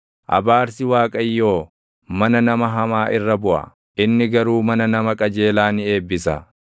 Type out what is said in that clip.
Abaarsi Waaqayyoo mana nama hamaa irra buʼa; inni garuu mana nama qajeelaa ni eebbisa.